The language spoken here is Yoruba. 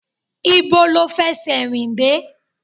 Ibo lo fẹsẹ rìn dé?